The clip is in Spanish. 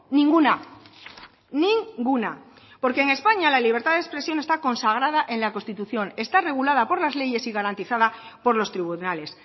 ninguna ninguna porque en españa la libertad de expresión está consagrada en la constitución está regulada por las leyes y garantizada por los tribunales